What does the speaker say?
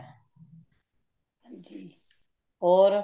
ਹਾਂਜੀ ਹੋਰ